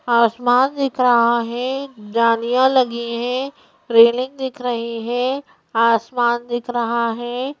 आसमान दिख रहा है जालियां लगी हैं रेलिंग दिख रही है आसमान दिख रहा है।